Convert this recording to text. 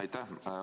Aitäh!